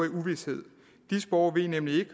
i uvished disse borgere ved nemlig ikke